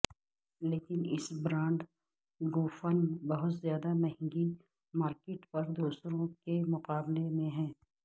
لیکن اس برانڈ گوفن بہت زیادہ مہنگی مارکیٹ پر دوسروں کے مقابلے میں ہیں